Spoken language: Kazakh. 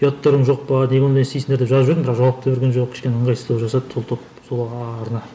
ұяттарың жоқ па неге ондай істейсіңдер деп жазып жібердім бірақ жауап та берген жоқ кішкене ыңғайсыздау жасады сол топ сол арна